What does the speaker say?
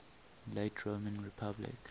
late roman republic